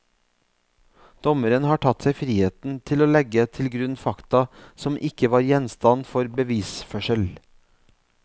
Dommeren har tatt seg friheten til å legge til grunn fakta som ikke var gjenstand for bevisførsel.